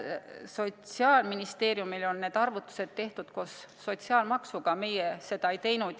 Sotsiaalministeeriumil on need arvutused tehtud koos sotsiaalmaksuga, meie seda ei teinud.